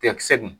Cɛkisɛ dun